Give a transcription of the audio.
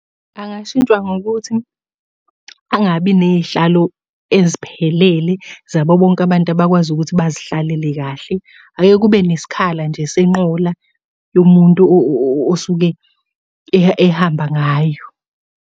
Angashintshwa ngokuthi angabi ney'hlalo eziphelele zabo bonke abantu abakwazi ukuthi bazihlalele kahle. Ake kube nesikhala nje senqola yomuntu osuke ehamba ngayo.